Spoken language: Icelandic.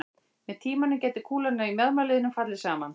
Með tímanum gæti kúlan í mjaðmarliðnum fallið saman.